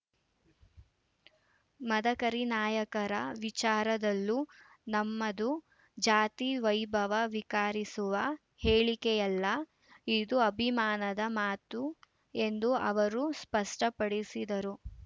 ಮದಕರಿ ನಾಯಕರ ವಿಚಾರದಲೂ ನಮ್ಮದು ಜಾತಿ ವೈಭವೀಕರಿಸುವ ಹೇಳಿಕೆಯಲ್ಲ ಇದು ಅಭಿಮಾನದ ಮಾತು ಎಂದು ಅವರು ಸ್ಪಷ್ಟಪಡಿಸಿದರು